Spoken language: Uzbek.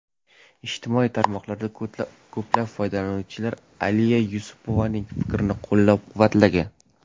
Ijtimoiy tarmoqlarda ko‘plab foydalanuvchilar Aliya Yunusovaning fikrlari qo‘llab-quvvatlagan.